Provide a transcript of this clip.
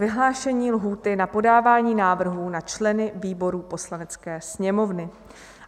Vyhlášení lhůty na podávání návrhů na členy výborů Poslanecké sněmovny